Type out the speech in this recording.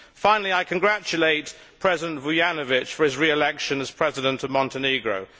Finally, I congratulate President Vujanović on his re election as President of Montenegro.